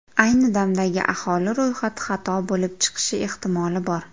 Ayni damdagi aholi ro‘yxati xato bo‘lib chiqishi ehtimoli bor.